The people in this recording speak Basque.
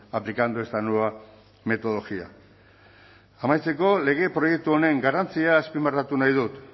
aplicando esta nueva metodología amaitzeko lege proiektu honen garrantzia azpimarratu nahi dut